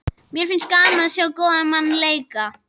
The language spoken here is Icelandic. Mér finnst gaman að sjá góðan mann leika.